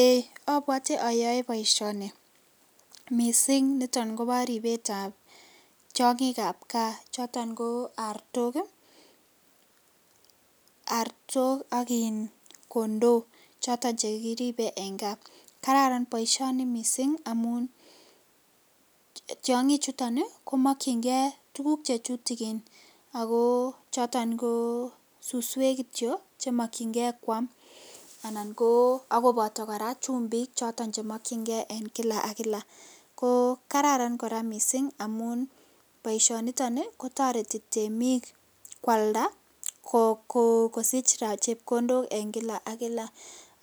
Ee obwote oyoe boisioni missing' niton kobo ribetab tiongik ap kaa choton ko artok ii, artok ak iin kondoo choton chekiribe en kaa, Kararan boisioni missing' amun tiongichuton komokchingee tuguk chetutukin ako choton ko suswek kityok chemokyingee kwam anan ko akoboto koraa chumbik choton chemokyingee en kila ak kila ko Kararan koraa missing' amun boisioniton kotoreti temik kwalda kosich raa chepkondok en kila ak kila